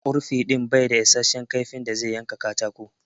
Ƙurfi din bai da issashen kaifi da zai yanka katako.